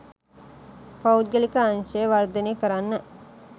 පෞද්ගලික අංශය වර්ධනය කරන්න.